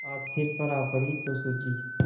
आज सिर पर आ पड़ी तो सूझी